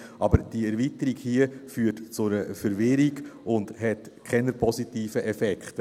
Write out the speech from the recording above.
Doch die Erweiterung hier führt zu einer Verwirrung und hat keine positiven Effekte.